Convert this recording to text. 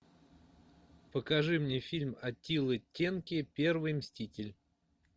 покажи мне фильм аттилы тенки первый мститель